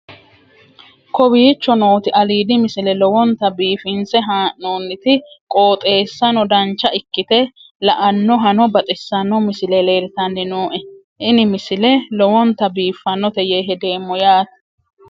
kowicho nooti aliidi misile lowonta biifinse haa'noonniti qooxeessano dancha ikkite la'annohano baxissanno misile leeltanni nooe ini misile lowonta biifffinnote yee hedeemmo yaate